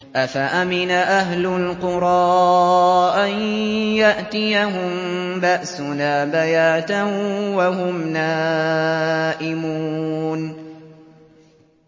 أَفَأَمِنَ أَهْلُ الْقُرَىٰ أَن يَأْتِيَهُم بَأْسُنَا بَيَاتًا وَهُمْ نَائِمُونَ